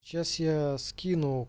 сейчас я скину